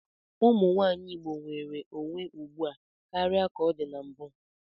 Ụmụnwaanyị Igbo nwere onwe ugbu a karịa ka ọ dị na mbụ.